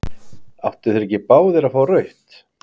Áttu þeir ekki báðir að fá rautt?